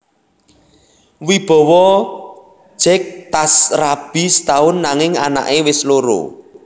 Wibowo jek tas rabi setaun nanging anak e wes loro